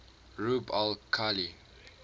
rub al khali